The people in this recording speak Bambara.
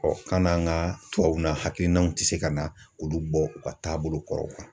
kan'an ka tubabuw na hakilinaw tɛ se ka na olu bɔ u ka taabolo kɔrɔw la.